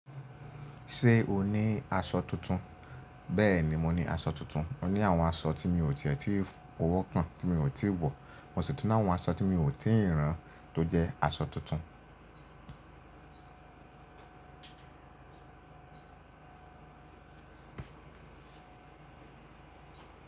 Ṣé o ní aṣọ tuntun? Bẹ́ẹ̀ni, mo ní aṣọ tuntun. Mo ní àwọn aṣọ tí mi ò tíì tì fowọ kàn, tí mi ò tíì wọ̀. Mo sì tún ni àwọn aṣọ tí mi ò tíì ràn tó jẹ́ aṣọ tuntun.